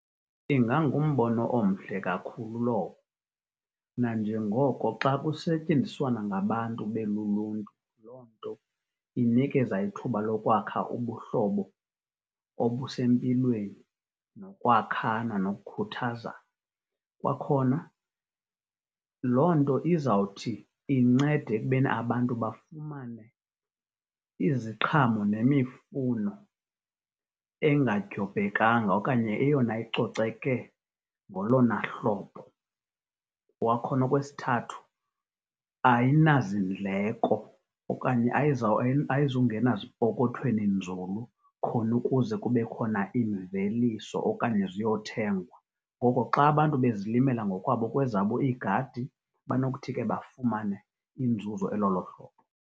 Ingangumbono omhle kakhulu lowo. Nanjengoko xa kusetyenziswana ngabantu beluluntu loo nto inikeza ithuba lokwakha ubuhlobo obusempilweni, nokwakhana, nokukuthazana. Kwakhona, loo nto izawuthi incede ekubeni abantu bafumane iziqhamo nemifuno engadyobhekanga okanye eyona icoceke ngolona hlobo. Kwakhona okwesithathu, ayinazindleko okanye ayizungena zipokothweni nzulu khona ukuze kube khona imveliso okanye ziyothengwa. Ngoko xa abantu bezilimela kwezabo iigadi banokuthi ke bafumane inzuzo elolo hlobo.